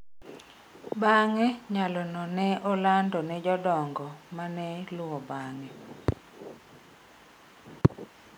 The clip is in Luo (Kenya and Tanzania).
Bang’e, nyalono ne olando ne jodongo ma ne luwo bang’e.